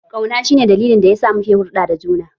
Kauna shi ne dalilin da yasa muke hulɗa da juna.